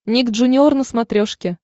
ник джуниор на смотрешке